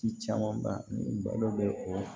Ci caman ba ni balo bɛ o